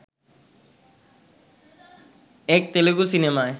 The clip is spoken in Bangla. এক তেলেগু সিনেমায়